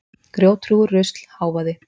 Grjóthrúgur, rusl, hávaði.